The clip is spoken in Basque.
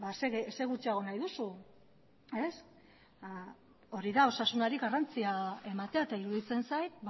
zer gutxiago nahi duzu hori da osasunari garrantzia ematea eta iruditzen zait